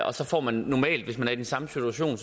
og så får man normalt hvis man er i den samme situation